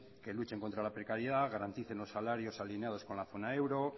que luchen contra la precariedad garanticen los salarios alineados con la zona euro